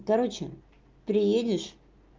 короче приедешь